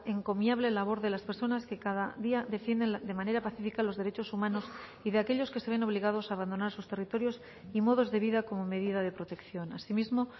encomiable labor de las personas que cada día defienden de manera pacífica los derechos humanos y de aquellos que se ven obligados a abandonar sus territorios y modos de vida como medida de protección asimismo